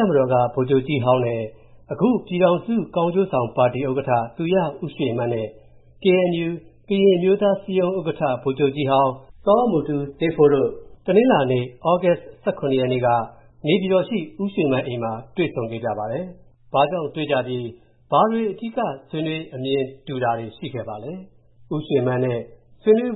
ပ်မတော်က အရင်ဗိုလ်ချုပ်ကြီးဟောင်းနဲ့ အခု ပြည်ထောင်စုကောင်းကျိုးဆောင်ပါတီ ဥက္ကဌ သူရဦးရွေမန်းနဲ့ KNU ကရင်အမျိုးသားအစည်းအရုံး ဥက္ကဌ ဗိုလ်ချုပ်ကြီးဟောင်း စောမူတူးဆေးဖိုးတို့ တနင်္လာနေ့ သြဂုတ်လ ရက်နေ့က နေပြည်တော်ရှိ ဦးရွေမန်းအိမ်မှာ တွေ့ဆုံ ဆွေးနွေးခဲ့ကြပါတယ်။ ဘာကြောင့်တွေ့ကြပြီး၊ ဘာတွေအဓိက ဆွေးနွေး အမြင်တူတာတွေ ရှိခဲ့ပါလဲ။ဒီသတင်းကို